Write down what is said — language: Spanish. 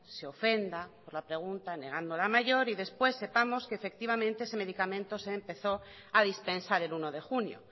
se ofenda por la pregunta negando la mayor y después sepamos que efectivamente ese medicamento se empezó a dispensar el uno de junio